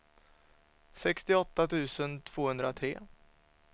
sextioåtta tusen tvåhundratre